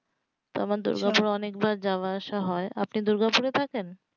তো আমার দুর্গাপুর এ যাওয়া আসা হয় তো আপনি কি দুর্গাপুর এ থাকেন?